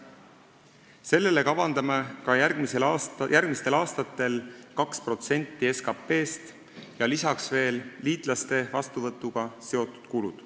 Sellele kavandame ka järgmistel aastatel 2% SKT-st ja lisaks on veel liitlaste vastuvõtuga seotud kulud.